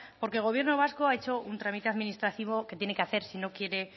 porque el gobierno vasco ha hecho un trámite administrativo que tiene que hacer si no quiere